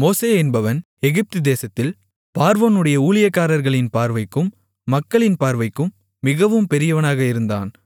மோசே என்பவன் எகிப்து தேசத்தில் பார்வோனுடைய ஊழியக்காரர்களின் பார்வைக்கும் மக்களின் பார்வைக்கும் மிகவும் பெரியவனாக இருந்தான்